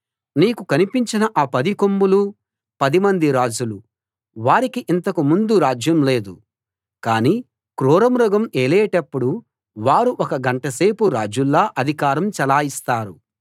నీకు కనిపించిన ఆ పది కొమ్ములూ పదిమంది రాజులు వారికి ఇంతకు ముందు రాజ్యం లేదు కానీ క్రూరమృగం ఏలేటప్పుడు వారు ఒక గంటసేపు రాజుల్లా అధికారం చలాయిస్తారు